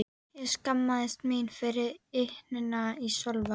Ég skammaðist mín fyrir ýtnina í Sölva.